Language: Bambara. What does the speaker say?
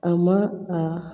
A ma a